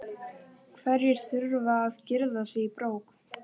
Hverjir þurfa að girða sig í brók?